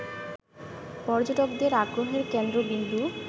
পর্যটকদের আগ্রহের কেন্দ্রবিন্দু